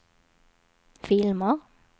filmer